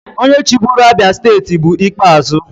Onye chịburu Abia steeti bụ Ikpeazu.